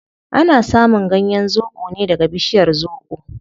Ana samun ganyen zobo ne daga bishiyar zobo